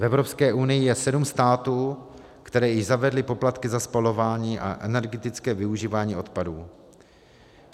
V Evropské unii je sedm států, které již zavedly poplatky za spalování a energetické využívání odpadů.